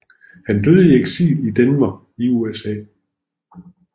Han døde i eksil i Denver i USA